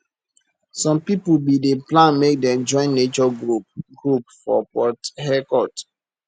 some pipo bin dey plan make dem join nature group group for port harecourt